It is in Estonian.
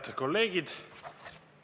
Head kolleegid!